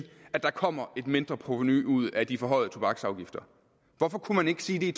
at der kommer et mindre provenu ud af de forhøjede tobaksafgifter hvorfor kunne man ikke sige det i